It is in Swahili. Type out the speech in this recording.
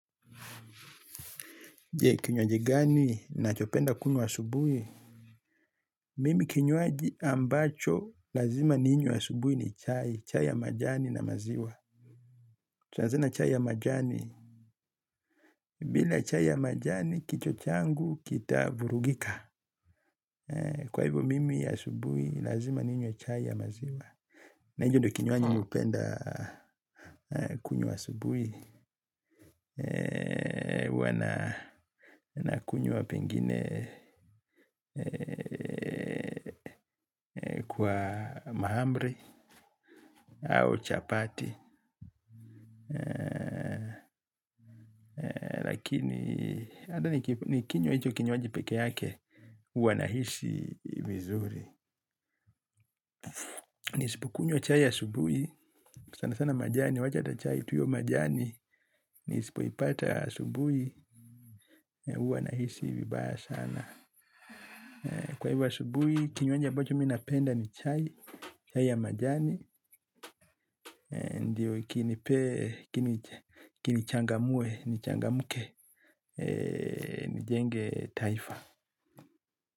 Je, kinyoaji gani? Nachopenda kunywa asubuhi. Mimi kinyoaji ambacho, lazima ninywe asubuhi ni chai. Chai ya majani na maziwa. Tunazina chai ya majani. Bila chai ya majani, kichwa changu, kita vurugika. Kwa hivyo, mimi asubuhi, lazima ninywe chai ya maziwa. Na hicho ndio kinywaji mimi hupenda kunywa asubuhi. Huwa nakunywa pengine kwa mahamri au chapati. Lakini, hata nikinywa hicho kinywaji peke yake, huwa nahisi vizuri. Nisipokunywa chai asubuhi, sana sana majani, wacha hata chai tu hiyo majani. Nisipoipata asubuhi huwa nahisi vibaya sana. Kwa hivyo asubuhi kinywaji ambacho mimi napenda ni chai, chai ya majani. Ndiyo kinichangamue nichangamke nijenge taifa.